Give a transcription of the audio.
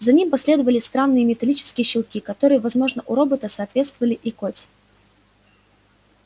за этим последовали странные металлические щелчки которые возможно у робота соответствовали икоте